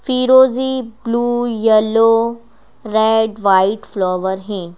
फिरोजी blue yellow red white flower है।